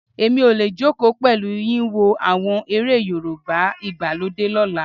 Èmi ò lè jókòó pẹ̀lú yín wo àwọn eré Yorùbá ìgbàlódé lọ́la.